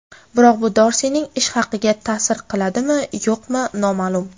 Biroq bu Dorsining ish haqiga ta’sir qiladimi-yo‘qmi noma’lum.